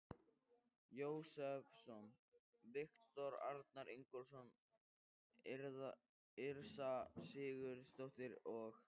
Jósepsson, Viktor Arnar Ingólfsson, Yrsa Sigurðardóttir og